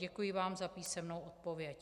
Děkuji vám za písemnou odpověď.